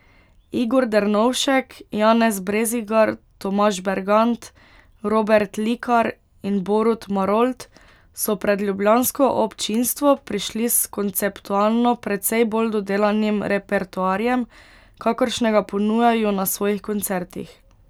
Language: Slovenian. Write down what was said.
Igor Dernovšek, Janez Brezigar, Tomaž Bergant, Robert Likar in Borut Marolt so pred ljubljansko občinstvo prišli s konceptualno precej bolj dodelanim repertoarjem, kakršnega ponujajo na svojih koncertih.